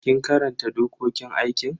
Kin karanta dokokin aikin?